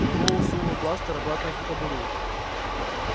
мэллоу сунул бластер обратно в кобуру